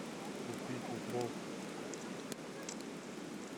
купить укроп